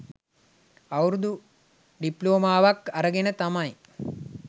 අවුරුදු ඩිප්ලෝමාවක් අරගෙන තමයි